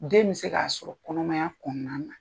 Den bɛ se k'a sɔrɔ kɔnɔmaya kɔnɔna na.